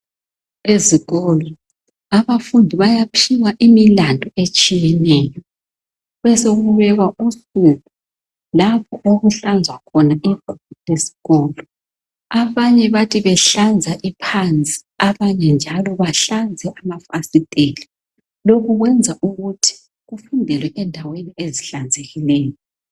Ezikolo abafundi bayaphiwa imilandu etshiyeneyo. Besokubekwa usuku lapho okuhlanzwa khona iguma lesikolo. Abanye bathi behlanza iphansi, abanye njalo behlanze amafasiteli. Lokhu kwenza ukuthi kufundelwe endaweni ezihlanzekileyo.